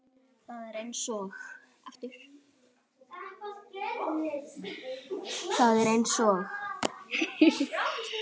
Það er eins og